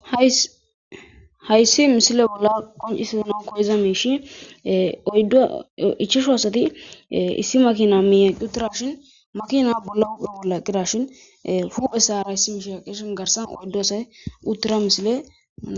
Hayssi missile bola qonccisana koyiza mishi oyddu ichashu asati issi Makina miye eqqi uttidashin makina bolla huphphe bolla eqqidashin huphesara issi mishi eqqidashin garssara oyddu asay uttida missile.